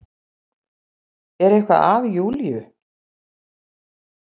Er eitthvað að Júlía?